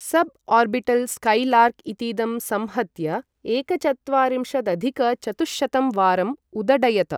सब् orbital Skylark इतीदं संहत्य एकचत्वारिंशदधिक चतुःशतं वारं उदडयत।